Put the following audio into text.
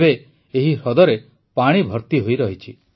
ଏବେ ଏହି ହ୍ରଦରେ ପାଣି ଭର୍ତି ହୋଇରହିଛି